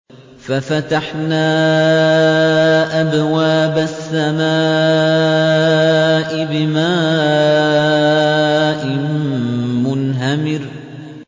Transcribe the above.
فَفَتَحْنَا أَبْوَابَ السَّمَاءِ بِمَاءٍ مُّنْهَمِرٍ